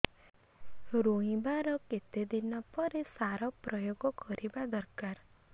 ରୋଈବା ର କେତେ ଦିନ ପରେ ସାର ପ୍ରୋୟାଗ କରିବା ଦରକାର